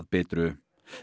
Bitru